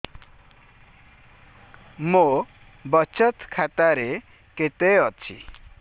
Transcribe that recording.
ମୋ ବଚତ ଖାତା ରେ କେତେ ଅଛି